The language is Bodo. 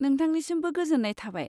नोंथांनिसिमबो गोजोन्नाय थाबाय।